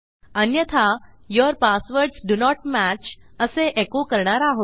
अन्यथा your passwords do not match असे एको करणार आहोत